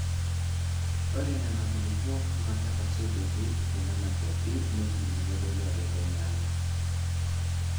Ore Nena kulupuok naa ketasotuoki te Nena kwapi neipimi nedoli ajo kenyaanyuk.